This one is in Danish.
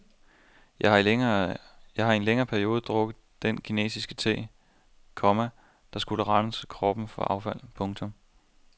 Jeg har i en længere periode drukket den kinesiske te, komma der skulle rense kroppen for affald. punktum